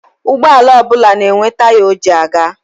Ụgbọala ọbụla na-enwe taya o ji aga.